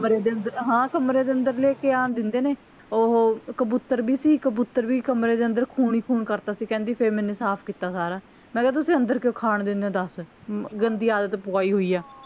ਦੇ ਅੰਦਰ ਹਾਂ ਕਮਰੇ ਦੇ ਅੰਦਰ ਲੈ ਕੇ ਆਨ ਦਿੰਦੇ ਨੇ ਓਹੋ ਕਬੂਤਰ ਵੀ ਸੀ ਕਬੂਤਰ ਵੀ ਕਮਰੇ ਦੇ ਅੰਦਰ ਖੂਨ ਹੀ ਖੂਨ ਕਰਤਾ ਸੀ ਕਹਿੰਦੀ ਫੇਰ ਮੈਂਨੂੰ ਸਾਫ ਕਿੱਤਾ ਸਾਰਾ ਮੈਂ ਕਿਹਾ ਤੁਸੀਂ ਅੰਦਰ ਕਿਓਂ ਖਾਣ ਦਿੰਦੇ ਊ ਦਸ ਗੰਦੀ ਆਦਤ ਪਵਾਈ ਹੋਈ ਆ